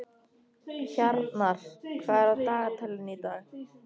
Hjarnar, hvað er á dagatalinu í dag?